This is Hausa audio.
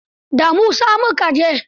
Da Musa mu ka je.